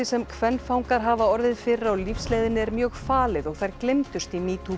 sem kvenfangar hafa orðið fyrir á lífsleiðinni er mjög falið og þær gleymdust í